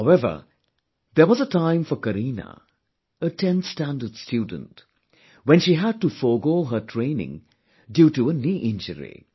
However there was a time for Kareena, a 10th standard student when she had to forego her training due to a knee injury